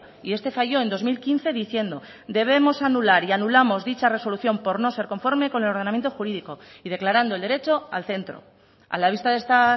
y este falló en dos mil quince diciendo debemos anular y anulamos dicha resolución por no ser conforme con el ordenamiento jurídico y declarando el derecho al centro a la vista de esta